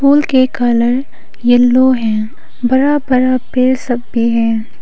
फूल के colour yellow है। बड़ा बड़ा पेड़ सब भी है।